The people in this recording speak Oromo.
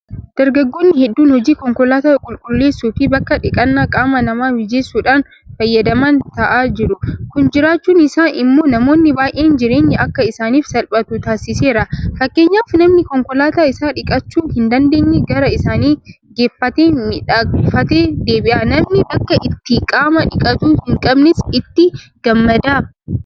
Dargaggoonni hedduun hojii konkolaataa qulqulleessuufi bakka dhiqannaa qaama namaa mijeessuudhaan fayyadaman taa'aa jiru. Kun jiraachuun isaa immoo namoonni baay'een jireenyi akka isaaniif salphatu taasiseera. Fakkeenyaaf namni konkolaataa isaa dhiqachuu hindandeenye gara isaanii geeffatee miidhakfatee deebi'a. Namni bakka itti qaama dhiqatu hinqabnes itti gammada.